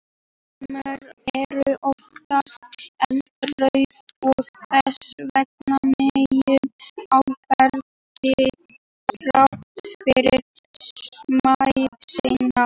Fjörumaurar eru oftast eldrauðir og þess vegna mjög áberandi þrátt fyrir smæð sína.